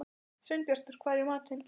Sveinbjartur, hvað er í matinn?